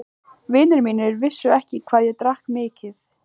Vinir mínir vissu ekki hvað ég drakk mikið.